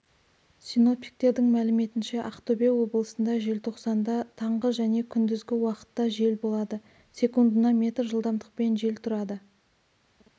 синоптиктердің мәліметінше ақтөбе облысында желтоқсанда таңғы және күндізгі уақытта жел болады секундына метр жылдамдықпен жел тұрады